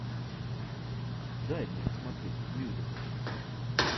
дай мне посмотреть мюзикл